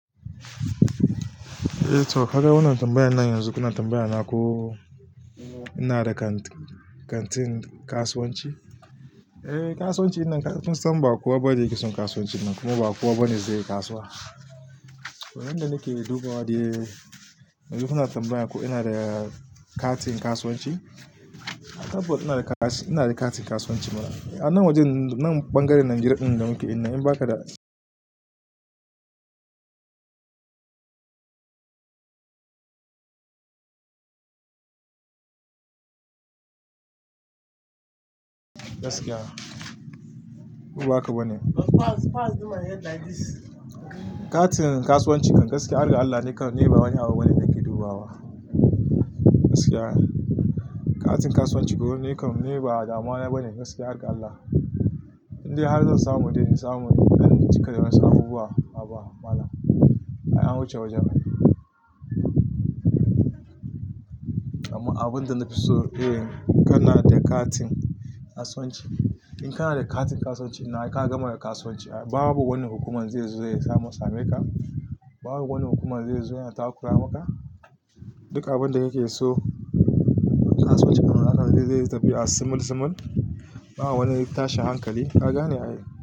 Eh to, ka ga wannan tambayan nan yanzu. Wannan tambayan na ko ina da katin kasuwanci? Eh, kasuwanci. Ina tunasan ba kowa ba ne yake son kasuwanci kuma ba kowa ba ne zai yi kasuwa. To, wannan da nake dubawa dai, me kuke tana tambaya ko ina da katin kasuwanci? Of course ina da katin kasuwanci. A nan wajen ɓangaren Najeriya ɗin da muke ina, in ba ka da gaskiya, ko ba haka ba ne. Katin kasuwanci gaskiya, har ga Allah, nakan ni ba wani abu bane nake duba ba. Gaskiya, katin kasuwanci goni nakan nema damuwa bana, gaskiya har ga Allah. Indai har zan samu dai, na samu ɗan cika da wasu abubuwa, ba mana. Ai an wuce wajen. Amma abun da na fi so, eh, kana da katin kasuwanci. In kana da katin kasuwanci ina ka gama da kasuwanci, babu wani hukumar zai zo ya samo same ka. Babu wani hukumar zai zo ya takura maka. Duk abin da kake so a kasuwanci, hakan ne zai tafi a simulsimal. Ba wani tashi hankali. Ka gane a yi.